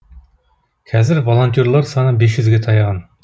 қазір волонтерлер саны бес жүзге таяған